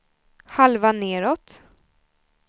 halva nedåt